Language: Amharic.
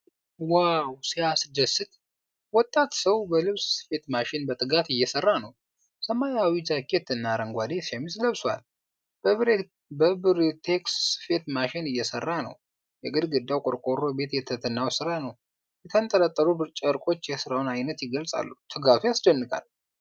ዋው ሲያስደስት! ወጣት ሰው በልብስ ስፌት ማሽን በትጋት እየሰራ ነው። ሰማያዊ ጃኬት እና አረንጓዴ ሸሚዝ ለብሷል። በብሪቴክስ ስፌት ማሽን እየሰራ ነው። የግድግዳው ቆርቆሮ ቤት የትህትናውን ሥራ ነው። የተንጠለጠሉ ጨርቆች የስራውን ዓይነት ይገልፃሉ! ትጋቱ ያስደንቃል!